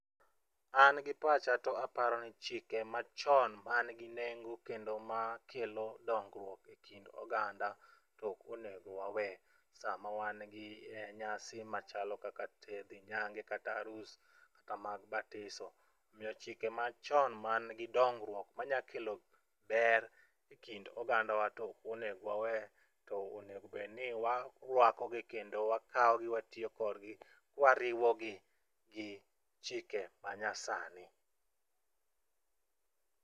An gi pacha to aparo ni chike machon man gi nengo kendo makelo dongruok e kind oganda tok onego wawe sama wan gi e nyasi machalo kaka te dhi nyange kata harus kata mag batiso. Omiyo chike machon man gi dongruoK manya kelo ber e kind oganda wa tok onego wawe to onge bed ni warwako gi kendo wakawo gi watiyo kodgni kwariwo gi gi chike ma nya sani.